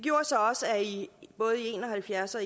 og halvfjerds og